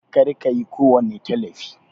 Kar kayi kowani Talifi!